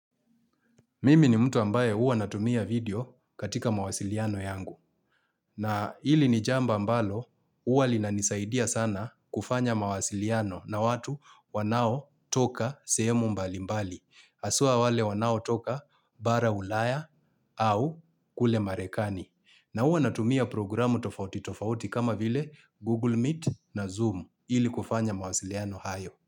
Mimi ni mtu ambaye uwa natumia vidio katika mawasiliano yangu. Na hili ni jamba mbalo, uwa lina nisaidia sana kufanya mawasiliano na watu wanao toka seemu mbali mbali. Haswa wale wanao toka bara ulaya au kule marekani. Na hua natumia programu tofauti tofauti kama vile Google Meet na Zoom ili kufanya mawasiliano hayo.